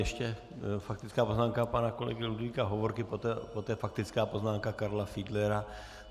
Ještě faktická poznámka pana kolegy Ludvíka Hovorky, poté faktická poznámka Karla Fiedlera.